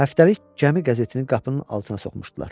Həftəlik gəmi qəzetini qapının altına soxmuşdular.